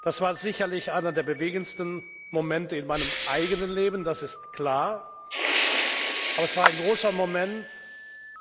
Das war sicherlich einer der bewegendsten Momente in meinem eigenen Leben, das ist klar, aber es war ein großer Moment